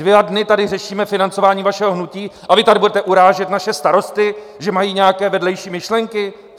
Dva dny tady řešíme financování vašeho hnutí a vy tady budete urážet naše starosty, že mají nějaké vedlejší myšlenky?